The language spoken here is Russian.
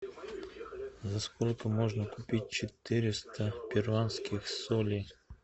за сколько можно купить четыреста перуанских солей